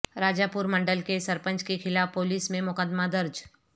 راجہ پور منڈل کے سرپنچ کے خلاف پولیس میں مقدمہ درج